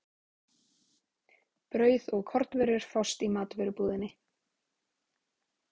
Brauð og kornvörur fást í matvörubúðinni.